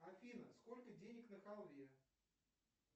афина сколько денег на халве